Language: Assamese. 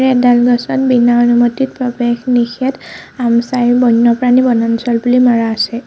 এডাল গছত বিনা অনুমতি প্ৰৱেশ নিষেধ আমচাই বন্যপ্ৰাণী বনাঞ্চল বুলি মাৰা আছে।